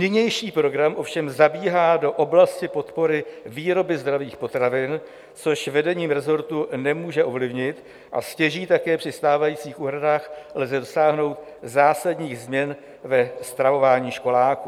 Nynější program ovšem zabíhá do oblasti podpory výroby zdravých potravin, což vedení resortu nemůže ovlivnit, a stěží také při stávajících úhradách lze dosáhnout zásadních změn ve stravování školáků.